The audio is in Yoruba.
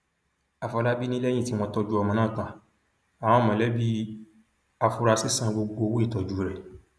àfọlábí ni lẹyìn tí wọn tọjú ọmọ náà tan àwọn mọlẹbí àfúrásì san gbogbo owó ìtọjú rẹ